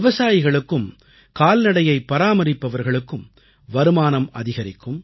விவசாயிகளுக்கும் கால்நடையை பராமரிப்பவர்களுக்கும் வருமானம் அதிகரிக்கும்